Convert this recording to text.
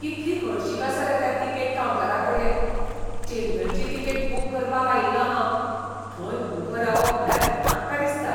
कितली हळशीक आसा रे त्या तिकेट कावंटराकडेन. चेन्नयची तिकेट बूक करपाक आयिल्लो हांव. थंय उबो रावप म्हळ्यार नाका दिसता.